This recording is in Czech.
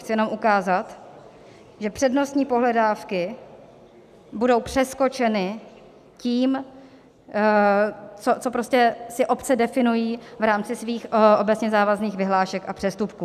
Chci jenom ukázat, že přednostní pohledávky budou přeskočeny tím, co si prostě obce definují v rámci svých obecně závazných vyhlášek a přestupků.